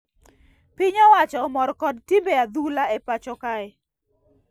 Piny owacho omor kod timbe acdhula e pacho kae